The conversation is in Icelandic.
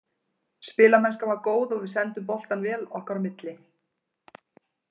Spilamennskan var góð og við sendum boltann vel okkar á milli.